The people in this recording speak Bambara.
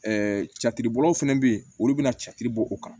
cɛcibɔlaw fɛnɛ be yen olu be na cacɛ bɔ o kan